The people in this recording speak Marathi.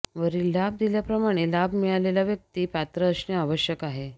वरील लाभ दिल्याप्रमाणे लाभ मिळालेला व्यक्ती पात्र असणे आवश्यक आहे